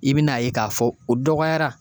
I bi n'a ye k'a fɔ o dɔgɔyara